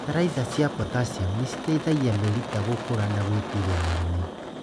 Bataraitha cia potassiamu nĩciteithagia mĩrita gũkũra na gwĩtiria mĩrimũ